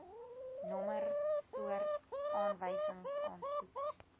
nommer soort aanwysingsaansoek